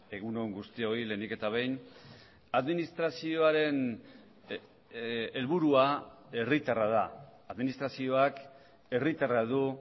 egun on guztioi lehenik eta behin administrazioaren helburua herritarra da administrazioak herritarra du